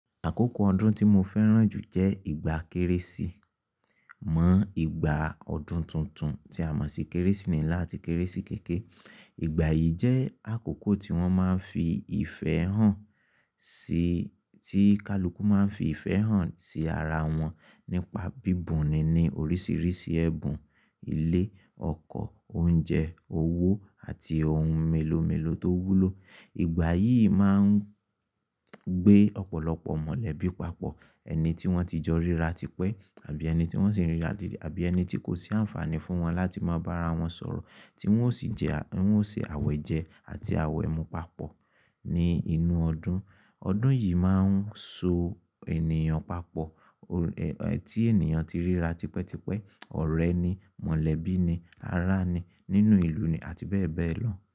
Àkókò ọdún tí mo fẹ́ràn jù jẹ́ ìgbà Kérésì. Mọ ìgbà ọdún tuntun tí a mọ̀ sí Kérésì nílá àti Kérésì kèké, ìgbà yìí jẹ́ àkókò tí wọ́n máa ń fi ìfẹ́ hàn sí, tí kaluku máa ń fi ìfẹ́ hàn sí ara wọn nípa bíbùn ni ní oríṣiríṣi ẹbùn, ilé, ọkọ̀, oúnjẹ, owó àti ohun mélòó mélòó tó wúlò. Ìgbà yìí máa ń gbé ọ̀pọ̀lọpọ̀ mọ̀lẹ́bí papọ̀, ẹni tí wọ́n ti jọ ríra tipẹ́ àbí ẹni tí wọ́n sì ń rí ra dedẹ àbí ẹni tí kò sí àǹfààní fún wọn láti máa bá ara wọn sọ̀rọ̀ tí wọ́n ó sì jẹ, tí wọ́n ó ṣe àwẹ̀jẹ àti àwẹ̀mú papọ̀ ní inú ọdún. Ọdún yìí máa ń so ènìyàn papọ̀, tí ènìyàn ti ríra tipẹ́tipẹ́, ọ̀rẹ́ ni, mọ̀lẹ́bí ni, ará ni nínú ìlú ni àti bẹ́ẹ̀ bẹ́ẹ̀ lọ.